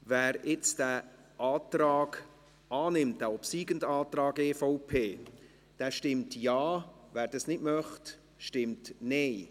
Wer nun den obsiegenden Antrag EVP annimmt, stimmt Ja, wer das nicht möchte, stimmt Nein.